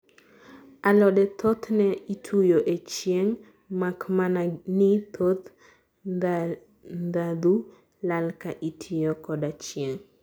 alode thoth ne ituyo e chieng makmana ni thoth ndhadhu lal ka itiyo koda chieng